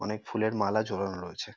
অনেক ফুলের মালা জড়ানো রয়েছে।